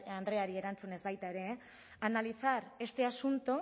garde andreari erantzunez baita ere analizar este asunto